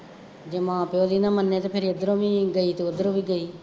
ਜੇ ਮਾਂ ਪਿਉ ਦੀ ਨਾ ਮੰਨੇ ਅਤੇ ਫੇਰ ਇੱਧਰੋ ਵੀ ਗਈ ਅਤੇ ਉੱਧਰੋ ਵੀ ਗਈ